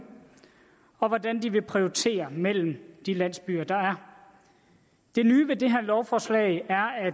og hvordan de vil prioritere mellem de landsbyer der er det nye ved det her lovforslag er at